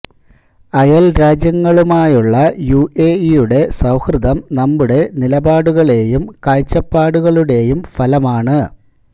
അയല് രാജ്യങ്ങളുമായുള്ള യു എ ഇയുടെ സൌഹൃദം നമ്മുടെ നിലപാടുകളെയും കാഴ്ചപ്പാടുകളുടെയും ഫലമാണ്